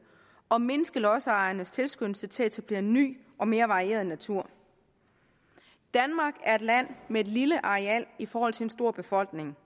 og vil mindske lodsejernes tilskyndelse til at etablere ny og mere varieret natur danmark er et land med et lille areal i forhold til en stor befolkning